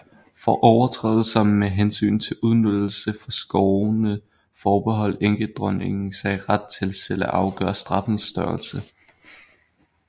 For overtrædelser med hensyn til udnyttelse fra skovene forbeholdt enkedronningen sig ret til selv at afgøre straffens størrelse